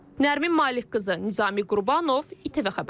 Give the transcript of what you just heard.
Nərmin Malikqızı, Nizami Qurbanov, ATV Xəbər.